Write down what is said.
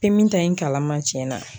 Pemi ta in kala ma cɛn na.